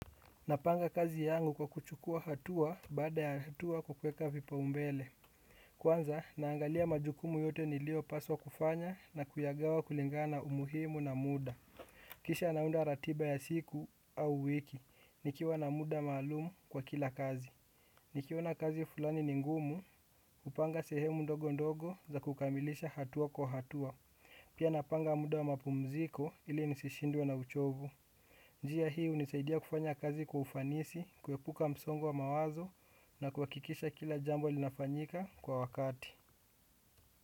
Napanga kazi yangu kwa kuchukua hatua baada ya hatua kwa kuweka vipaumbele. Kwanza, naangalia majukumu yote niliopaswa kufanya na kuyagawa kulingana umuhimu na muda. Kisha naunda ratiba ya siku au wiki, nikiwa na muda maalumu kwa kila kazi. Nikiona kazi fulani ni ngumu, hupanga sehemu ndogo ndogo za kukamilisha hatua kwa hatua. Pia napanga muda wa mapumziko ili nisishindwe na uchovu. Njia hii hunisaidia kufanya kazi kwa ufanisi, kuepuka msongo wa mawazo na kuhakikisha kila jambo linafanyika kwa wakati.